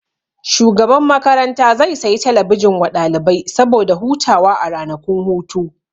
Shugaban makaranta zai sayi talabijin wa ɗalibai saboda hutawa a ranakun hutu